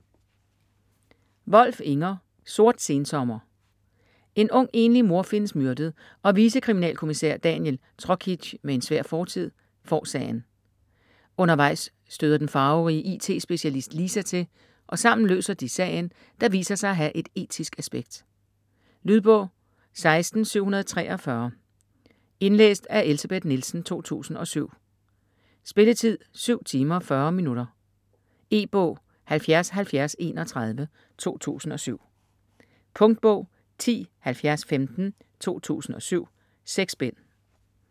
Wolf, Inger: Sort sensommer En ung enlig mor findes myrdet, og vicekriminalkommissær Daniel Trokic med en svær fortid får sagen. Undervejs støder den farverige IT-specialist Lisa til, og sammen løser de sagen, der viser sig at have et etisk aspekt. Lydbog 16743 Indlæst af Elsebeth Nielsen, 2007. Spilletid: 7 timer, 40 minutter. E-bog 707031 2007. Punktbog 107015 2007. 6 bind.